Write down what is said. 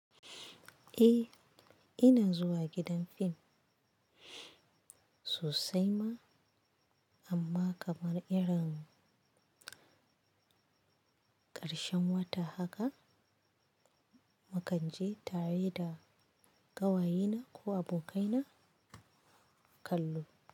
Eh, ina zuwa gidan film sosai ma amma kamar irin ƙarshen wata haka, mukanje tare da ƙawayena ko abokaina kallo.